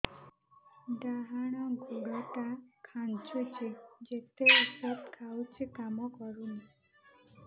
ଡାହାଣ ଗୁଡ଼ ଟା ଖାନ୍ଚୁଚି ଯେତେ ଉଷ୍ଧ ଖାଉଛି କାମ କରୁନି